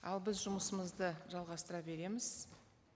ал біз жұмысымызды жалғастыра береміз